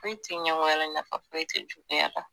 Foyi te ɲɛngoya la nafa foyi te juguya la